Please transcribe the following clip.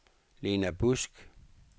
Lena Busk